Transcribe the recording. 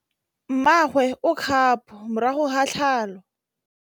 Mmagwe o kgapô morago ga tlhalô.